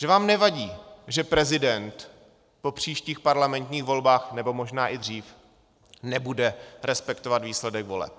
Že vám nevadí, že prezident po příštích parlamentních volbách, nebo možná i dřív, nebude respektovat výsledek voleb.